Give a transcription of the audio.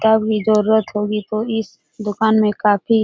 कभी जरुरत होगी तो इस दुकान में काफी --